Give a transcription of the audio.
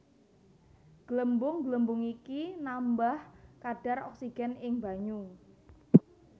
Glembung glembung iki nambah kadhar oksigen ing banyu